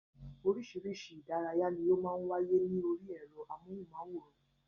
Orísirísi ìdárayá ní ó màá ń wáyé ní orí ẹ̀rọ amóhùnmáwòrán